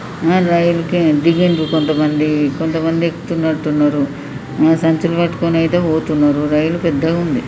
అహ రైల్ కే దిగుండ్రు కొంతమంది కొంతమంది ఎక్కుతున్నట్టున్నరు. హ సంచులు పట్టుకొని అయితే పోతున్నరూ రైల్ పెద్దగుంది.